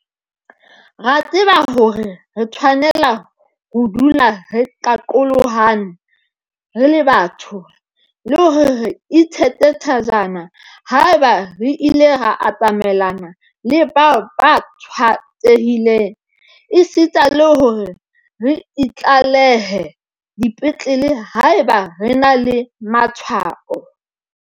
Re a tseba hore re tshwanela ho dula re qaqolohane re le batho, le hore re itsheke thajana haeba re ile ra atamelana le bao ba tshwaetsehileng esita le hore re itlalehe dipetlele haeba re na le matshwao.